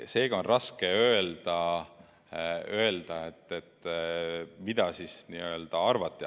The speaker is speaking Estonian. Seega on raske öelda, mida arvati.